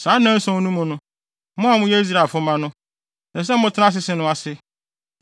Saa nnanson no mu no, mo a moyɛ Israelfo mma no, ɛsɛ sɛ motena asese no ase.